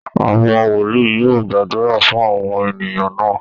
Àwọn wòlíì yóò gbàdúrà fún àwọn ènìyàn náà